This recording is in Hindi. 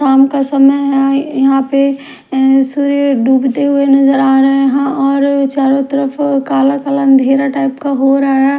शाम का समय है यहां पे एं सूर्य डूबते हुए नजर आ रहे हैं और चारों तरफ कला-कला अंधेरा टाइप का हो रहा है।